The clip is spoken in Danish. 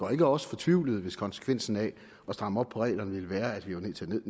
gør os fortvivlede hvis konsekvensen af at stramme op på reglerne ville være at vi var nødt til